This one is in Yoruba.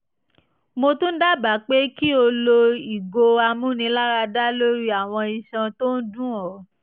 mo tún dábàá pé kí o lo ìgò amúniláradá lórí àwọn iṣan tó ń dun ọ